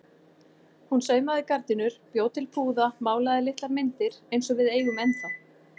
Hún saumaði gardínur, bjó til púða, málaði litlar myndir eins og við eigum ennþá.